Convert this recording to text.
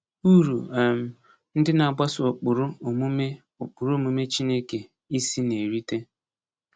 Uru um ndị na-agbaso ụkpụrụ omume ụkpụrụ omume Chineke isi na-erite.